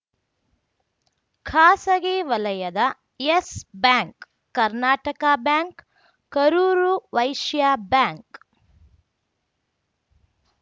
ಖಾಸಗಿ ವಲಯದ Yes Bank Karnataka Bank Karur Vysya bank